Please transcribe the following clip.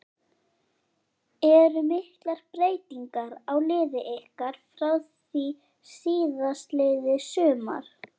Eru miklar breytingar á liði ykkar frá því síðastliðið sumar?